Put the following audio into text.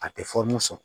A tɛ sɔn